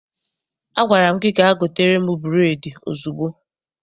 Agwara m gị gaa gotere m bureedi ozugbo!